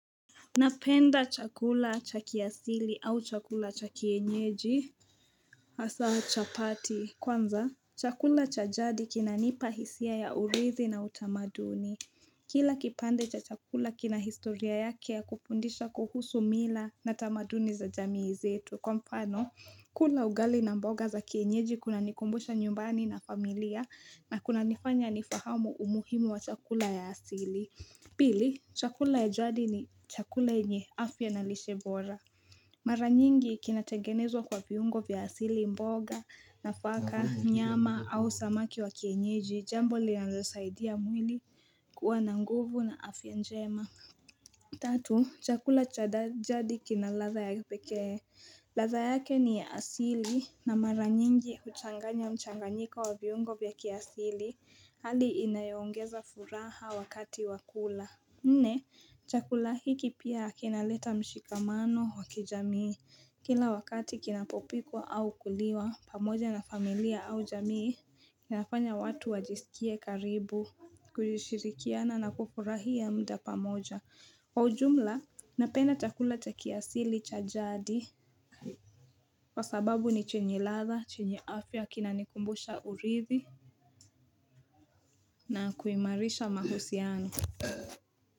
Napenda chakula cha kiasili au chakula cha kienyeji Hasa chapati kwanza chakula cha jadi kinanipa hisia ya urithi na utamaduni Kila kipande cha chakula kina historia yake ya kufundisha kuhusu mila na tamaduni za jamii zetu kwa mfano, kula ugali na mboga za kienyeji kuna nikumbusha nyumbani na familia na kuna nifanya nifahamu umuhimu wa chakula ya asili Pili, chakula ya jadi ni chakula yenye afya na lishe bora Mara nyingi kinatengenezwa kwa viungo vya asili mboga, nafaka, nyama au samaki wa kienyeji, jambo linazosaidia mwili kuwa na nguvu na afya njema Tatu, chakula cha jadi kina ladha ya pekee ladha yake ni ya asili na mara nyingi huchanganya mchanganyika wa viungo vya kiasili hali inayongeza furaha wakati wakula. Nne, chakula hiki pia kinaleta mshikamano wa kijamii Kila wakati kinapopikwa au kuliwa pamoja na familia au jamii kinafanya watu wajisikie karibu kujishirikiana na kufurahia muda pamoja Kwa ujumla, napenda chakula cha kiasili cha jadi kwa sababu ni chenye ladha, chenye afya, kinanikumbusha urithi na kuimarisha mahusiano.